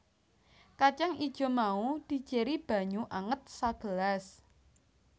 Kacang ijo mau dijéri banyu anget sagelas